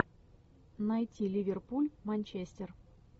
найти ливерпуль манчестер